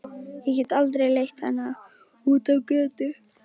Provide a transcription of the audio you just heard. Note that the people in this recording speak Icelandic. Ég get aldrei leitt hana út á götuna.